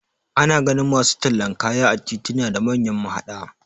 Ana ganin masu tallan kaya a tituna da manyan mahaɗa